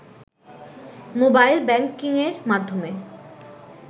mobile ব্যাংকিংয়ের মাধ্যমে